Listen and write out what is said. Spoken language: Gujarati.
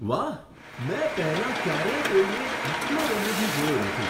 વાહ! મેં પહેલાં ક્યારેય કોઈને આટલો રમૂજી જોયો નથી!